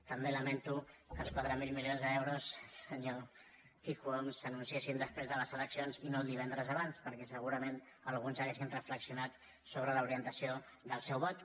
també lamento que els quatre mil milions d’euros senyor quico homs s’anunciessin després de les eleccions i no el divendres abans perquè segurament alguns haurien reflexionat sobre l’orientació del seu vot